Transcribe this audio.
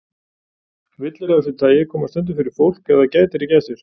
Villur af þessu tagi koma stundum fyrir fólk ef það gætir ekki að sér.